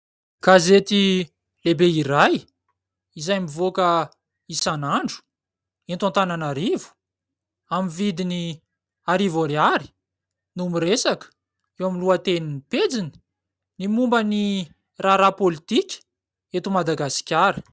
Gazety lehibe iray, izay mivoaka isan'andro eto Antananarivo, amin'ny vidiny arivo ariary no miresaka eo amin'ny lohateniny pejiny ny momba ny raharaha pôlitika eto Madagasikara.